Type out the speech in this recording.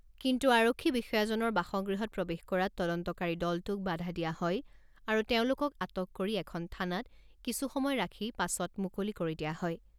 কিন্তু আৰক্ষী বিষয়াজনৰ বাসগৃহত প্ৰৱেশ কৰাত তদন্তকাৰী দলটোক বাধা দিয়া হয় আৰু তেওঁলোকক আটক কৰি এখন থানাত কিছু সময় ৰাখি পাছত মুকলি কৰি দিয়া হয়।